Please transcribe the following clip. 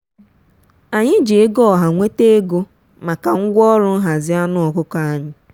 anyị ji ego ọha nweta ego maka ngwaọrụ nhazi anụ ọkụkọ anyị.